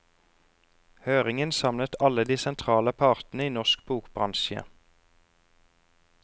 Høringen samlet alle de sentrale partene i norsk bokbransje.